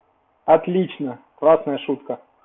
отлично классная шутка